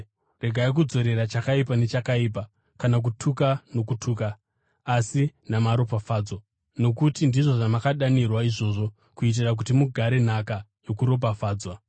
Regai kudzorera chakaipa nechakaipa kana kutuka nokutuka, asi namaropafadzo, nokuti ndizvo zvamakadanirwa izvozvo kuitira kuti mugare nhaka yokuropafadzwa.